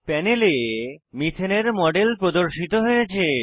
প্যানেলে মিথেন এর মডেল প্রদর্শিত হয়েছে